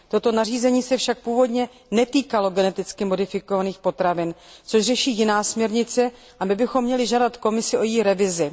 Toto nařízení se však původně netýkalo geneticky modifikovaných potravin, které řeší jiná směrnice, a my bychom měli požádat Komisi o její revizi.